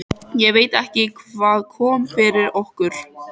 Ég veit ekki hvað kom yfir okkur.